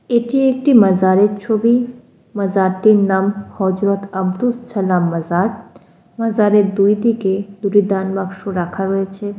এটি একটি মাজারের ছবি। মাজারটির নাম হযরত আব্দুস সালাম মাজার। মাজারে দুই দিকে দুটি দান বাক্স রাখা রয়েছে।